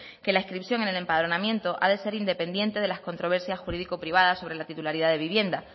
que la inscripción en el empadronamiento ha de ser independiente de las controversias jurídico privadas sobre la titularidad de la vivienda